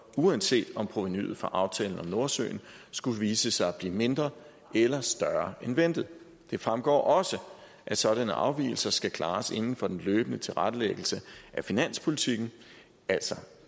uanset om provenuet fra aftalen om nordsøolien skulle vise sig at blive mindre eller større end ventet det fremgår også at sådanne afvigelser skal klares inden for den løbende tilrettelæggelse af finanspolitikken altså